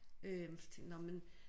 Øh så tænkte nåh men